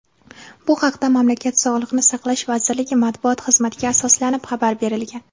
Bu haqda mamlakat Sog‘liqni saqlash vazirligi matbuot xizmatiga asoslanib xabar berilgan.